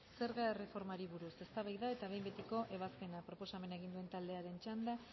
zerga erreformari buruz eztabaida eta behin betiko ebazpena proposamena egin duten taldearen txanda